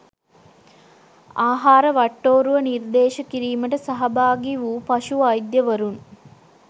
ආහාර වට්ටෝරුව නිර්දේශ කිරීමට සහභාගි වූ පශු වෛද්‍යවරුන්